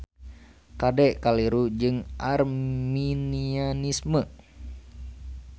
Kade kaliru jeung Arminianisme.